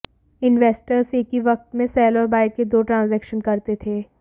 investors एक ही वक्त में सेल और बाय के दो ट्रांजैक्शन करते थे